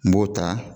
N b'o ta